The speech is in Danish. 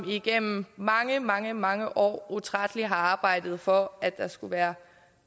igennem mange mange mange år utrætteligt har arbejdet for at der skulle være